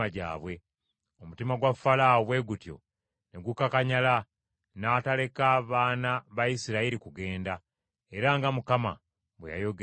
Omutima gwa Falaawo bwe gutyo ne gukakanyala; n’ataleka baana ba Isirayiri kugenda, era nga Mukama bwe yayogerera mu Musa.